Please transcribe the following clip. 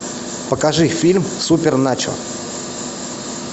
покажи фильм суперначо